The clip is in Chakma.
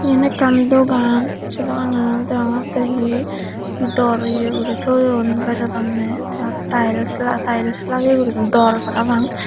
yan ekkan dogan che doananot deongotte he dor ye uri toyon bejodonne te aro tiles tiles lageye uri dor parapang.